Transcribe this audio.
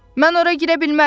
Mən ora girə bilmərəm.